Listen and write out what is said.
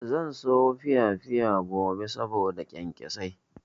Zan sayo piyapiya gobe saboda kyankyasai.